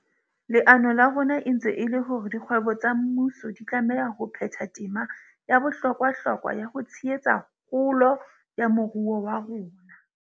Leano la rona e ntse e le la hore dikgwebo tsa mmuso di tlameha ho phetha tema ya bohlokwahlokwa ya ho tshehetsa kgolo ya moruo wa rona.